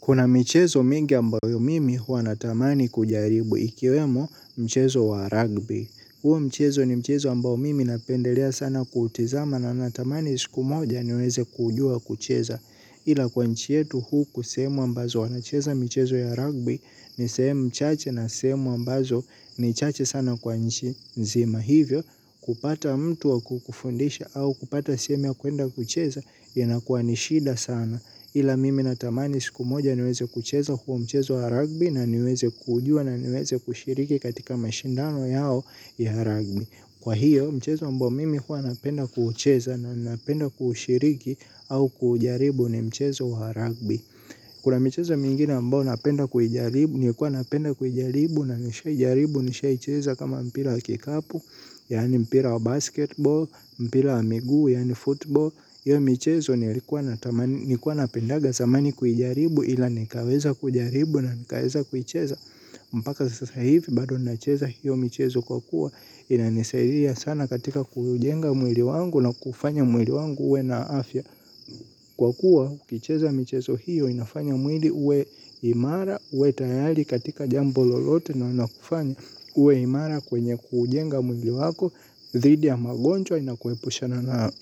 Kuna michezo mingi ambayo mimi huwa natamani kujaribu ikiwemo mchezo wa rugby. Huo mchezo ni mchezo ambayo mimi napendelea sana kutizama na natamani siku moja niweze kujua kucheza. Ila kwa nchi yetu huu kusemu ambazo wanacheza mchezo ya rugby ni sehemu mchache na sehemu ambazo ni chache sana kwa nchi nzima hivyo. Kupata mtu wa kukufundisha au kupata sehemu ya kuenda kucheza yanakuwa ni shida sana. Ila mimi natamani siku moja niweze kucheza huo mchezo wa rugby na niweze kujua na niweze kushiriki katika mashindano yao ya rugby. Kwa hiyo mchezo ambao mimi huwa napenda kucheza na napenda kushiriki au kujaribu ni mchezo wa rugby. Kuna michezo mingine ambao napenda kuijaribu ni kuwa napenda kujaribu na nishai jaribu nishai cheza kama mpira wa kikapu, yaani mpira wa basketball, mpira wa miguu, yaani football hiyo michezo nilikuwa napendaga zamani kujaribu ila nikaweza kujaribu na nikaweza kuicheza. Mpaka sasa hivi bado nacheza hiyo michezo kwa kuwa inanisaidia sana katika kujenga mwili wangu na kufanya mwili wangu uwe na afya. Kwa kuwa ukicheza michezo hiyo inafanya mwili uwe imara uwe tayari katika jambo lolote na wana kufanya uwe imara kwenye kujenga mwili wako dhhidi ya magonjwa inakuepusha na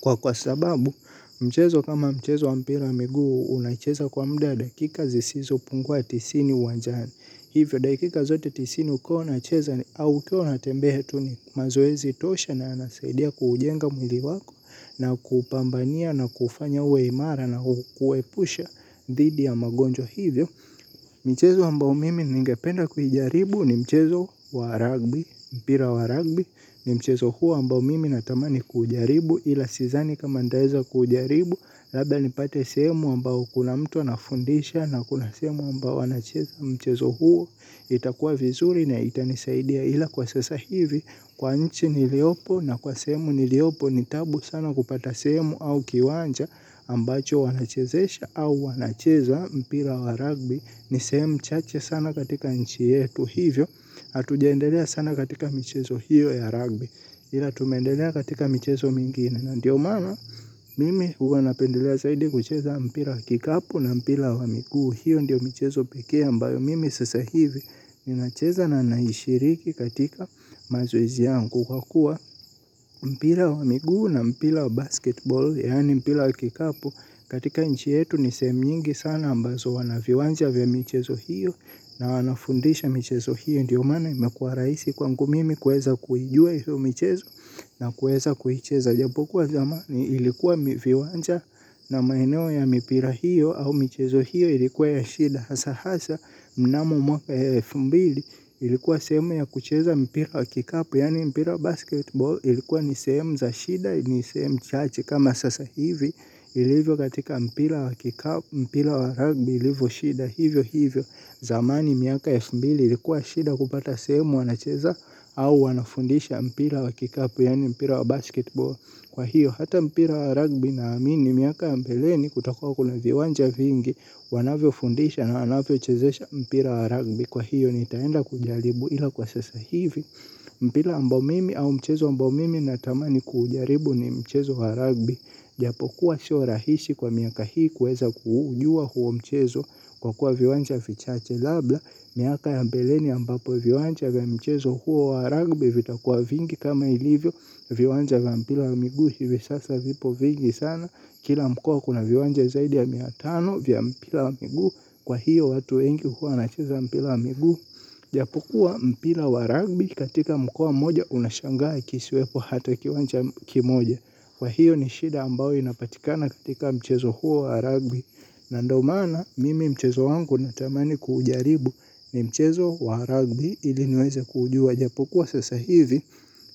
kwa kwa sababu mchezo kama mchezo wa mpira ya miguu unacheza kwa mda wa dakika zisizo pungua tisini uwanjani. Hivyo, dakika zote tisini ukiwa unacheza au ukiwa unatembea tu ni mazoezi tosha na yanasaidia kuujenga mwili wako. Na kupambania na kufanya uwe imara na kuwepusha dhidi ya magonjwa hivyo. Mchezo ambao mimi ningependa kuijaribu ni mchezo wa ragby mpira wa ragby ni mchezo huo ambao mimi natamani kujaribu ila siezani kama nitaeza kujaribu. Labda nipate sehemu ambao kuna mtu anafundisha na kuna sehemu ambao wanacheza mchezo huo itakua vizuri na itanisaidia ila kwa sasa hivi kwa nchi niliopo na kwa sehemu niliopo ni tabu sana kupata sehemu au kiwanja ambacho wanachezesha au wanacheza mpira wa ragbi. Ni sehemu chache sana katika nchi yetu hivyo. Hatujaendelea sana katika michezo hiyo ya rugby ila tumeendelea katika michezo mingine. Ndiyo maana mimi huwa napendelea zaidi kucheza mpira wa kikapu na mpira wa miguu. Hiyo ndiyo mchezo pekee ambayo mimi sasa hivi. Ninacheza na naishiriki katika mazoezi yangu kwa kuwa mpira wa miguu na mpira wa basketball yaani mpira kikapu katika nchi yetu ni sehemu mingi sana ambazo wana viwanja vya michezo hiyo na wanafundisha michezo hiyo ndiyo maana imekuwa rahisi kwangu mimi kuweza kujua hiyo michezo na kuweza kuicheza japo kuwa zamani ilikuwa miviwanja na maeneo ya mipira hiyo au michezo hiyo ilikuwa ya shida hasa hasa mnamo mwaka wa elfu mbili ilikuwa sehemu ya kucheza mpira wa kikapu yaani mpira wa basketball ilikuwa ni sehemu za shida ni sehemu chache kama sasa hivi ilivyo katika mpira wa kikapu, mpira wa rugby ilivo shida hivyo hivyo. Zamani miaka ya elfu mbili ilikuwa shida kupata sehemu wanacheza. Au wanafundisha mpira wa kikapu yaani mpira wa basketball, kwa hiyo hata mpira wa rugby naamini miaka ya mbeleni kutakuwa kuna viwanja vingi wanavyofundisha na wanavyochezesha mpira wa rugby. Kwa hiyo nitaenda kujaribu ila kwa sasa hivi. Mpira ambao mimi au mchezo ambao mimi natamani kuujaribu ni mchezo wa rugby. Japokuwa sio rahisi kwa miaka hii kuweza kuujua huo mchezo kwa kuwa viwanja vichache labda miaka ya mbeleni ambapo viwanja vya mchezo huo wa ragbi vitakuwa vingi kama ilivyo viwanja za mpira wa miguu hivi sasa vipo vingi sana. Kila mka kuna viwanja zaidi ya mia tano vya mpira wa miguu kwa hiyo watu wengi huwa wanacheza mpira wa miguu. Japokuwa mpira wa ragbi katika mkoa mmoja unashangaa kisiwepo hata kiwanja kimoja. Kwa hiyo ni shida ambayo inapatikana katika mchezo huo wa rugby. Na ndo maana mimi mchezo wangu natamani kuujaribu ni mchezo wa rugby ili niweze kuujua japokuwa sasa hivi.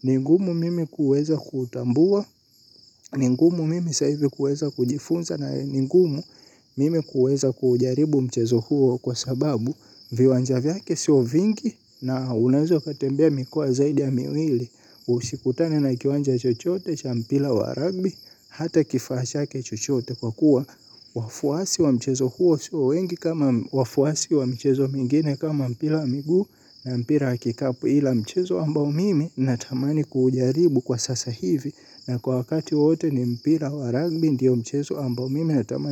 Ni ngumu mimi kuweza kutambua, ni ngumu mimi sasa hivi kuweza kujifunza na ni ngumu mimi kuweza kuujaribu mchezo huo kwa sababu viwanja vyake siyo vingi na unaweza ukatembea mikoa zaidi ya miwili. Usikutane na kiwanja chochote cha mpira wa ragbi. Hata kifaa chake chochote kwa kuwa wafuasi wa mchezo huo sio wengi kama wafuasi wa mchezo mingine kama mpira wa miguu. Na mpira wa kikapu ila mchezo ambao mimi natamani kuujaribu kwa sasa hivi. Na kwa wakati wote ni mpira wa ragbi ndiyo mchezo ambao mimi natamani.